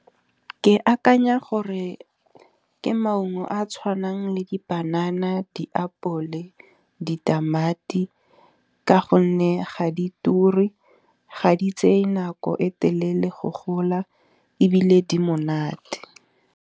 Ke akanya gore ke maungo a a tshwanang le dipanana, diapole, ditamati ka gonne ga di turi. Ga di tseye nako e telele go gola ebile di monate.